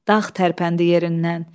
Dağ tərpəndi yerindən.